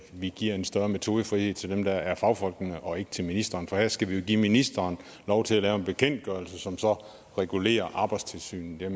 vi giver en større metodefrihed til dem der er fagfolkene og ikke til ministeren for her skal vi jo give ministeren lov til at lave en bekendtgørelse som så regulerer arbejdstilsynet